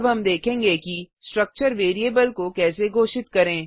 अब हम देखेंगे कि स्ट्रक्चर वेरिएबल को कैसे घोषित करें